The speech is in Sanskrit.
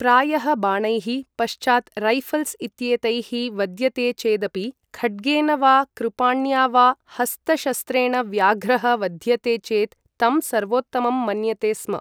प्रायः बाणैः, पश्चात् रैऴल्स् इत्येतैः वद्यते चेदपि, खड्गेन वा कृपाण्या वा हस्तशस्त्रेण व्याघ्रः वध्यते चेत् तं सर्वोत्तमं मन्यते स्म।